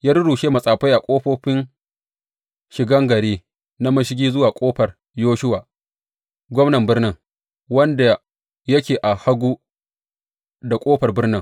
Ya rurrushe matsafai a ƙofofi shigan gari na mashigi zuwa Ƙofar Yoshuwa, gwamnan birnin, wanda yake a hagu da ƙofar birnin.